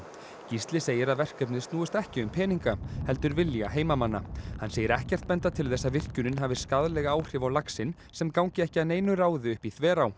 Gísli segir að verkefnið snúist ekki um peninga heldur vilja heimamanna hann segir ekkert benda til þess að virkjunin hafi skaðleg áhrif á laxinn sem gangi ekki að neinu ráði upp í Þverá